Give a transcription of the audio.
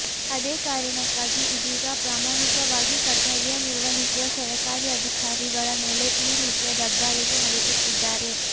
ಅದೇ ಕಾರಣಕ್ಕಾಗಿ ಇದೀಗ ಪ್ರಾಮಾಣಿಕವಾಗಿ ಕರ್ತವ್ಯ ನಿರ್ವಹಿಸುವ ಸರಕಾರಿ ಅಧಿಕಾರಿಗಳ ಮೇಲೆ ಈ ರೀತಿಯ ದಬ್ಬಾಳಿಕೆ ನಡೆಸುತ್ತಿದ್ದಾರೆ